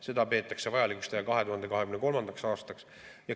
Seda peetakse vajalikuks teha 2023. aastaks.